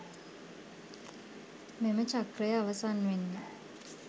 මෙම චක්‍රය අවසන් වෙන්නෙ